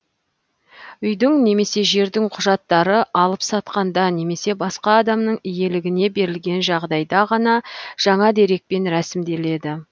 үйдің немесе жердің құжаттары алып сатқанда немесе басқа адамның иелігіне берілген жағдайда ғана жаңа дерекпен рәсімделеді